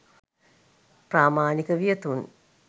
ප්‍රාමාණික වියතුන්,